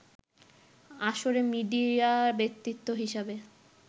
আসরে মিডিয়া ব্যক্তিত্ব হিসেবে